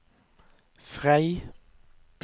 Frei